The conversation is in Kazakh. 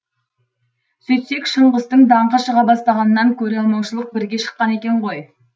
сөйтсек шыңғыстың даңқы шыға бастағаннан көре алмаушылық бірге шыққан екен ғой